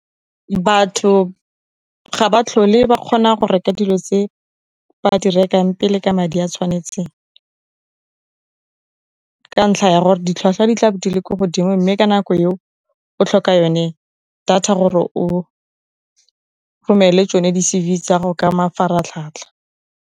Batho ga ba tlhole ba kgona go reka dilo tse ba di rekang pele ka madi a tshwanetseng ka ntlha ya gore, ditlhwatlhwa di tla di le ko godimo, mme ka nako eo o tlhoka yone data gore o romele tsone diCV tsago ka mafaratlhatlha.